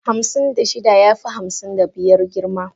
Hamsin da shida ya fi hamsin da biyar girma.